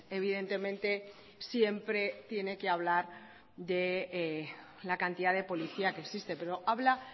evidentemente siempre tiene que hablar de la cantidad de policía que existe pero habla